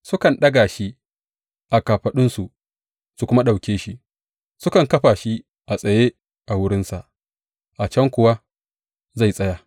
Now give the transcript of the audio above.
Sukan daga shi a kafaɗunsu su kuma ɗauke shi; sukan kafa shi a tsaye a wurinsa, a can kuwa zai tsaya.